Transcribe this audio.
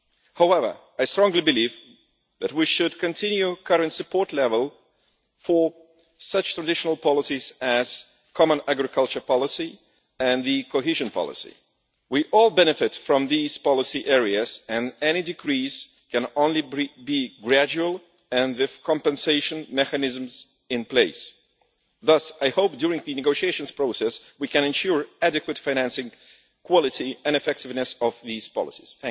However, I strongly believe that we should continue the current support level for such traditional policies as the common agricultural policy and the cohesion policy. We all benefit from these policy areas, and any decrease can only be gradual and with compensation mechanisms in place. Thus I hope during the negotiation process we can ensure adequate financing, quality and effectiveness of these policies.